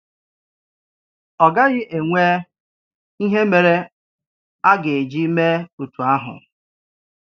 Ọ gaghị enwe ìhè mere à ga-eji mee otú áhù.